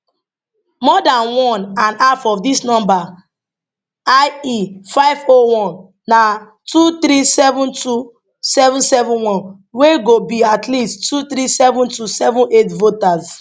more dan one and half of dis number ie 501 na 2372771 wey go be at least 237278 voters